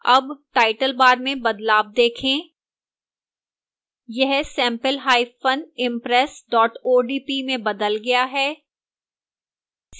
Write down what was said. अब title bar में बदलाव देखें